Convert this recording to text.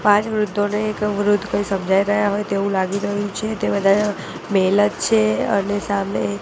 પાંચ વૃધ્ધોને એક વૃધ્ધ કઇ સમજાઇ રહ્યા હોય તેવુ લાગી રહ્યુ છે તે બધા મેલ જ છે અને સામે--